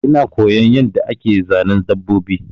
Ina koyon yanda ake Zanen dabbobi